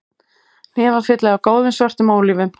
Hnefafylli af góðum, svörtum ólífum